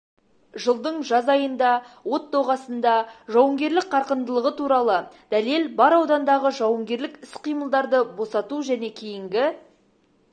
жылдың жаз айында от доғасында жауынгерлік қарқындылығы туралы дәлел бар аудандағы жауынгерлік іс-қимылдарды босату және кейінгі